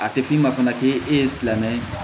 A tɛ f'i ma fana k'e ye silamɛ ye